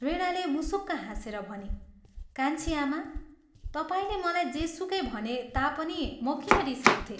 वीणाले मुसुक्क हाँसेर भनी, "कान्छी आमा, तपाईंले मलाई जेसुकै भने तापनि म किन रिसाउँथे?